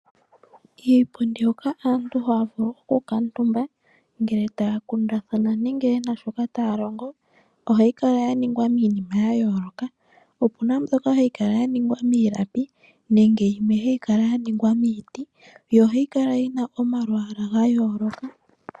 Iipundi hoka aantu haya vulu okukuutumba ngele taya kundathana nenge ye na shoka taya longo ohayi kala ya ningwa miinima ya yooloka, opu na mbyoka hayi kala ya ningwa miilapi nenge yimwe hayi kala ya ningwa miiti yo ohayi kala yina owalwaala ga yooloka.